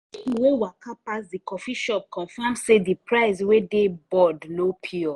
people wey waka pass the coffee shop confirm say the price wey dey board no pure.